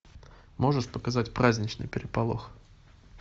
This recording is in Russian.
можешь показать праздничный переполох